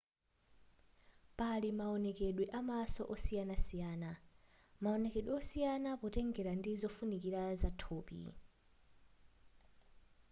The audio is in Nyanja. pali mawonekedwe amaso osiyanasiyana maonekedwe osiyana potengera ndi zofunikira za thupi